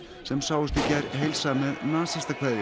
sem sáust í gær heilsa með